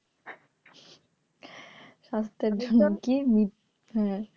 স্বাস্থ্যের জন্য কি হ্যাঁ